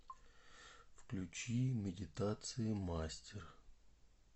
включи медитации мастер